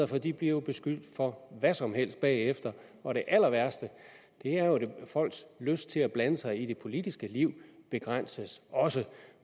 for de bliver jo beskyldt for hvad som helst bagefter og det allerværste er jo at folks lyst til at blande sig i det politiske liv begrænses også